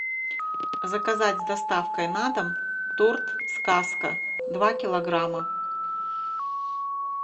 заказать с доставкой на дом торт сказка два килограмма